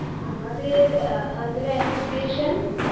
আমাদের আ অন্ধ্র অ্যাসোসিয়েশন